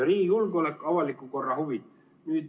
Riigi julgeolek ja avaliku korra huvid.